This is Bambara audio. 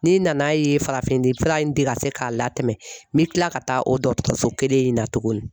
N'i nan'a ye o farafin fura in tɛ se k'a la tɛmɛ , n bɛ kila ka taa o dɔgɔtɔrɔso kelen in na tugun .